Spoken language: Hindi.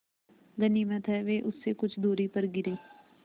गनीमत है वे उससे कुछ दूरी पर गिरीं